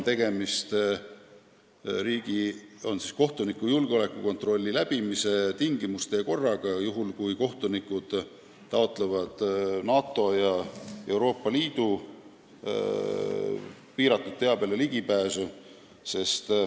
Tegemist on kohtuniku julgeolekukontrolli läbimise tingimuste ja korraga juhul, kui kohtunikud taotlevad NATO ja Euroopa Liidu salastatud teabele ligipääsu.